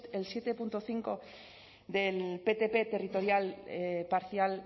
siete punto cinco del ptp territorial parcial